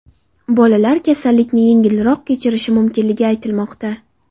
Bolalar kasallikni yengilroq kechirishi mumkinligi aytilmoqda.